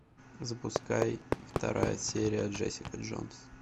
запускай вторая серия джессика джонс